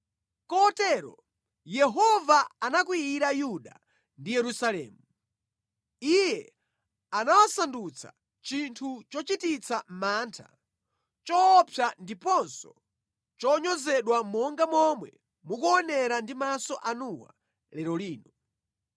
Kotero, Yehova anakwiyira Yuda ndi Yerusalemu. Iye anawasandutsa chinthu chochititsa mantha, choopsa ndiponso chonyozedwa monga momwe mukuonera ndi maso anuwa lero lino.